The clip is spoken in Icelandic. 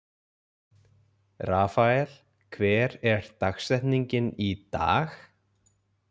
Rafael, hver er dagsetningin í dag?